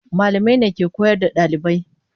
Malamai ne ke koyar da ɗalibai.